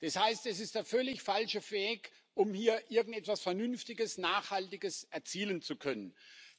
Das heißt, es ist der völlig falsche Weg, um hier irgendetwas Vernünftiges, Nachhaltiges erzielen zu können.